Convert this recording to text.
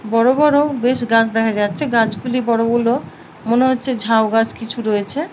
বড় বড় বেশ গাছ দেখা যাচ্ছে গাছ গুলি বড় হলেও মনে হচ্ছে ঝাউ গাছ কিছু রয়েছে।